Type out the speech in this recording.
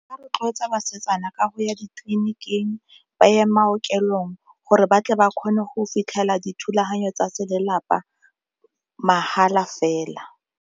Ba rotloetsa basetsana ka go ya ditleliniking, ba ye bookelong gore batle ba kgone go fitlhela dithulaganyo tsa se lelapa mahala fela.